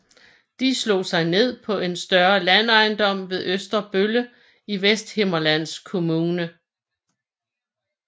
De slog sig ned på en større landejendom ved Østerbølle i Vesthimmerlands Kommune